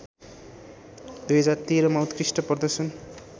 २०१३ मा उत्कृष्ट प्रदर्शन